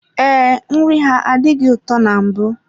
Ee, nri ha adịghị ụtọ na mbụ.